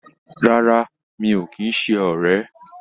Rárá, mi ò kì í ṣe ọ̀rẹ́